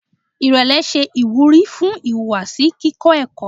Irẹlẹ ṣe iwuri fun ihuwasi kikọ ẹkọ